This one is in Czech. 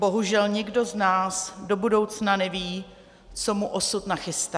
Bohužel nikdo z nás do budoucna neví, co mu osud nachystá.